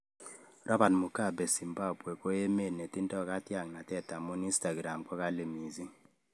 Robert Mugabe 'Zimbambwe koemet netindo katyangnatet' amune Instagram kokali mising.